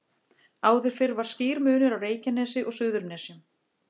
Áður fyrr var skýr munur á Reykjanesi og Suðurnesjum.